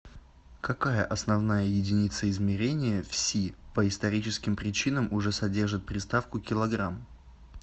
какая основная единица измерения в си по историческим причинам уже содержит приставку килограмм